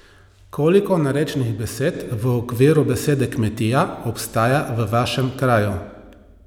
Koliko narečnih besed v okviru besede kmetija obstaja v vašem kraju?